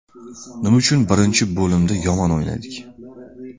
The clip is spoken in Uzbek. Nima uchun birinchi bo‘limda yomon o‘ynadik?